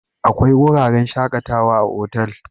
Akwai wuraren shakatawa a otal